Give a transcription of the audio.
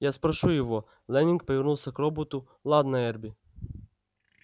я спрошу его лэннинг повернулся к роботу ладно эрби